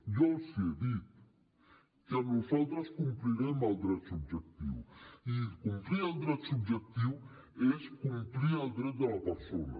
jo els ho he dit que nosaltres complirem el dret subjectiu i complir el dret subjectiu és complir el dret de la persona